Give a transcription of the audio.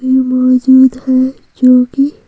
में मौजूद है जो कि--